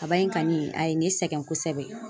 Kaba in kani a ye ne sɛgɛn kosɛbɛ.